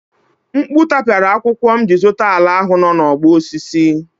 Mkpu tapiara akwụkwọ m jiri zụta ala ahụ nọ n'ọgbọ osisi.